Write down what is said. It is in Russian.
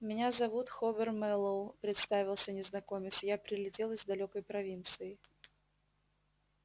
меня зовут хобер мэллоу представился незнакомец я прилетел из далёкой провинции